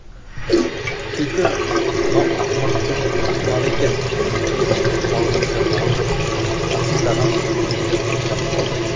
түлкі мынау ақымақтың ақымағы екен деп қуанғанша болған жоқ арсылдаған төбеттер қоршап алды